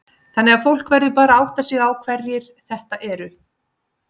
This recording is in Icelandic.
Þannig að fólk verður bara að átta sig á hverjir þetta eru?